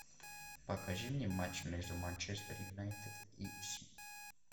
покажи мне матч между манчестер юнайтед и сити